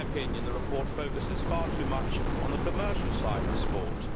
In my opinion the report focuses far too much on the commercial side of sport.